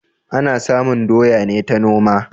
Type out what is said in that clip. Ana samun doya ne ta noma